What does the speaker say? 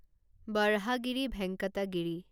Borhagiri Venkatagiri